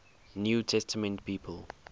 new testament people